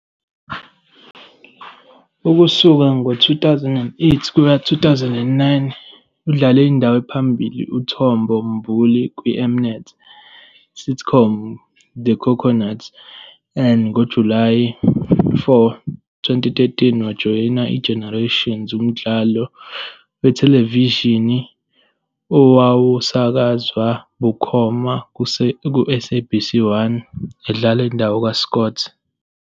Ukusuka ngo-2008-2009, udlale indawo ephambili kaTombo Mbuli kwiM-Net sitcom "The Coconuts. NgoJulayi 4, 2013, wajoyina "iGenerations", umdlalo wethelevishini owawusakazwa bukhoma kuSABC 1, edlala indawo kaScott.